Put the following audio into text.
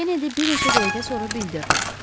Kenedi bir neçə dəqiqə sonra bildirdi.